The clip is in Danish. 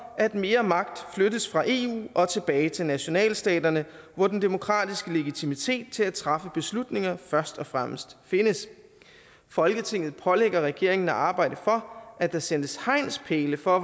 at mere magt flyttes fra eu og tilbage til nationalstaterne hvor den demokratiske legitimitet til at træffe beslutninger først og fremmest findes folketinget pålægger regeringen at arbejde for at der sættes hegnspæle for